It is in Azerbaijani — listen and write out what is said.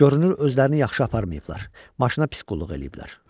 Görünür özlərini yaxşı aparmayıblar, maşına pis qulluq eləyiblər.